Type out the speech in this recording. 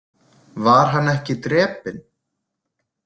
Var hann ekki drepinn?